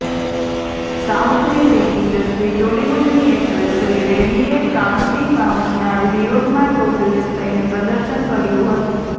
સાઉથની film industry ટોલિવૂડની actress Sri રેડ્ડીએ કાસ્ટિંગ કાઉચના વિરોધમાં ટોપલેસ થઇને પ્રદર્શન કર્યું હતું